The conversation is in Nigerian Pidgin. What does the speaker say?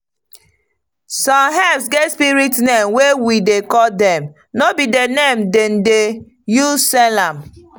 some herbs get spirit name wey we dey call dem no be the name dem dey use sell am.